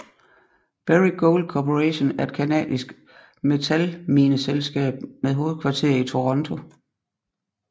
Barrick Gold Corporation er et canadisk metalmineselskab med hovedkvarter i Toronto